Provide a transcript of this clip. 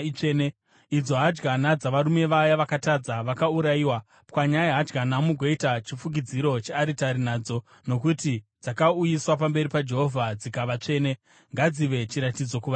idzo hadyana dzavarume vaye vakatadza vakaurayiwa. Pwanyai hadyana mugoita chifukidziro chearitari nadzo, nokuti dzakauyiswa pamberi paJehovha dzikava tsvene. Ngadzive chiratidzo kuvaIsraeri.”